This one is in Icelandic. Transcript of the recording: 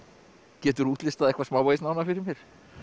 geturðu útlistað eitthvað smávegis nánar fyrir mér